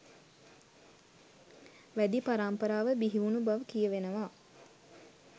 වැදී පරම්පරාව බිහිවුණු බව කියවෙනවා.